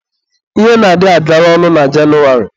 Ihe na-adị agara ọnụ na Jenụwarị.